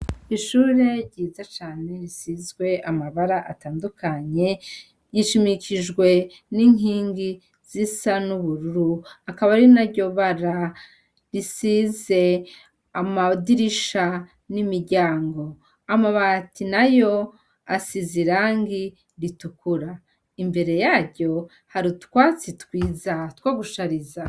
Ishure ryiza cane risizwe amabara atandukanye yishimikijwe n'inkingi z'isa n'ubururu akaba arina ryo bara risize amawudirisha n'imiryango amabati na yo asize i rangi ritukura imbere yaryo hari utwatsi twiza twagushariza.